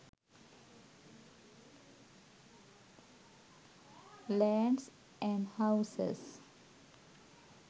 lands and houses